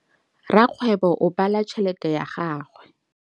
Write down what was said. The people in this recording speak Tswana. Rakgwêbô o bala tšheletê ya gagwe.